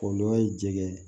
Kɔlɔlɔ ye jɛgɛ ye